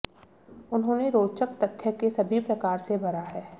उन्होंने रोचक तथ्य के सभी प्रकार से भरा है